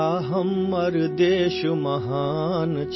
اپنا ملک عظیم ہے،